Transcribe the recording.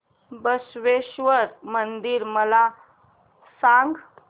बसवेश्वर मंदिर मला सांग